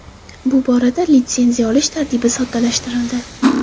Bu borada litsenziya olish tartibi soddalashtirildi.